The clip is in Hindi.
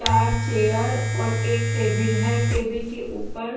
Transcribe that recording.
बाहर चेयर और एक टेबिल है टेबिल के ऊपर--